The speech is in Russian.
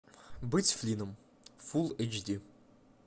быть флинном фулл эйч ди